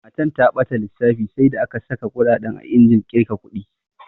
Matan ta ɓata lissafi sai da aka saƙa kuɗaɗen a injin ƙirga ƙudi.